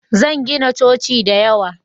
Zan gina coci da yawa